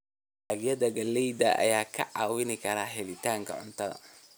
Dalagyada galleyda ayaa kaa caawin kara helitaanka cuntada.